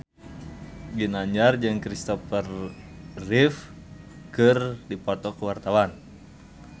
Ginanjar jeung Christopher Reeve keur dipoto ku wartawan